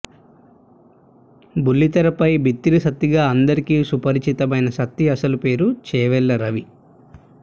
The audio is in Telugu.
బెల్లితెరపై బిత్తిరి సత్తిగా అందరికీ సుపరిచితమైన సత్తి అసలు పేరు చేవేళ్ల రవి